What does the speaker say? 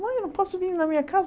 Mãe, eu não posso vir na minha casa?